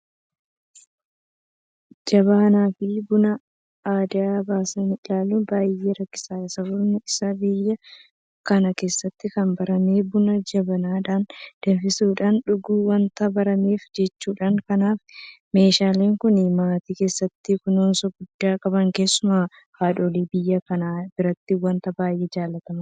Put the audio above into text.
Jabanaafi Buna addaan baasanii ilaaluun baay'ee rakkisaadha. Sababni isaas biyya kana keessatti kan barame buna jabanaadhaan danfisuudhaan dhuguun waanta barameef jechuudha. Kanaaf meeshaan kun maatii keessatti kunuunsa guddaa qaba. Keessumaa haadholii biyya kanaa biratti waanta baay'ee jaalatamaadha.